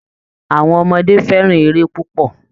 Àwọn ọmọdé fẹ́ràn eré púpọ̀